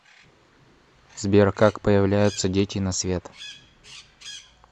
сбер как появляются дети на свет